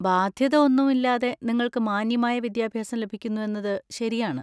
ബാധ്യത ഒന്നും ഇല്ലാതെ നിങ്ങൾക്ക് മാന്യമായ വിദ്യാഭ്യാസം ലഭിക്കുന്നു എന്നത് ശരിയാണ്.